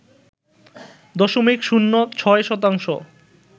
দশমিক শূন্য ৬ শতাংশ